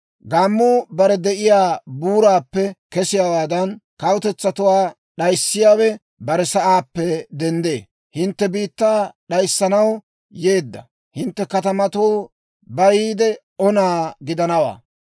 Gaammuu bare de'iyaa buuraappe kesiyaawaadan, kawutetsatuwaa d'ayissiyaawe bare sa'aappe denddee. Hintte biittaa d'ayissanaw yeedda. Hintte katamatuu bayiide ona gidanawaa.